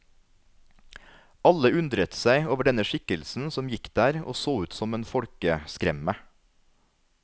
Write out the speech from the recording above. Alle undret seg over denne skikkelsen som gikk der og så ut som en folkeskremme.